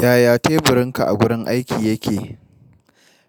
Yaya teburinka a gurin aiki yake?